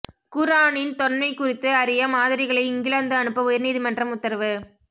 குா்ஆனின் தொன்மை குறித்து அறிய மாதிரிகளை இங்கிலாந்து அனுப்ப உயா்நீதிமன்றம் உத்தரவு